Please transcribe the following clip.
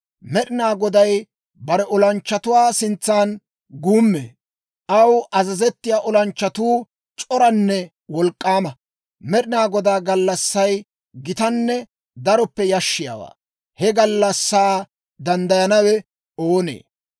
Med'inaa Goday bare olanchchatuwaa sintsan guummee; aw azazettiyaa olanchchatuu c'oranne wolk'k'aama. Med'inaa Godaa gallassay gitanne daroppe yashshiyaawaa. He gallassaa danddayanawe oonee?